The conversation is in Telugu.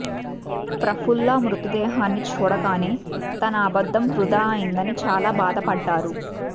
ప్రఫుల్లా మృతదేహాన్ని చూడగానే తన అబద్ధం వృథా అయిందని చాలా బాధపడ్డారు